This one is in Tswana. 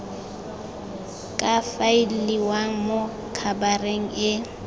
ka faeliwang mo khabareng e